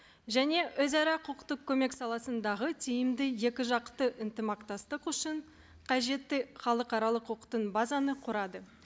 және өзара құқықтық көмек саласындағы тиімді екі жақты ынтымақтастық үшін қажетті халықаралық базаны құрады